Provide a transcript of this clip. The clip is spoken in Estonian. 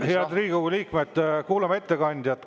Head Riigikogu liikmed, kuulame ettekandjat!